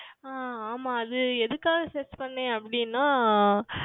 ஆஹ் ஆமாம் அது எதுக்காக Search செய்தேன் அப்படி என்றால்